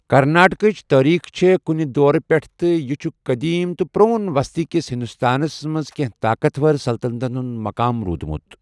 کرناٹکٕچ تٲریخ چھِ کُنہِ دورٕ پٮ۪ٹھ تہٕ یہِ چھُ قدیم تہٕ پرون وسطی کِس ہندوستانَس منٛز کینٛہہ طاقتور سلطنتن ہُنٛد مَقام روٗدمُت۔